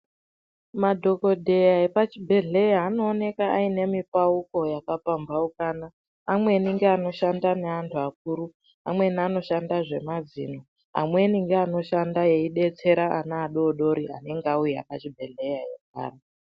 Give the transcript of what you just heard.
Madhogodheya epachibhedhleya anooneka aine mipauko yakapambaukana. Amweni ngeanoshanda neantu akuru, amweni anoshanda zvemazino. Amweni ngeanoshanda eidetsera ana adoodori anenge auya pachibhehleya eirwara.